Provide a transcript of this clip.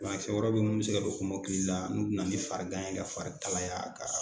Banakisɛ wɛrɛw bɛ yen minnu bɛ se ka don kɔmɔkili la n'u bɛ na ni farigan ye ka fari kalaya ka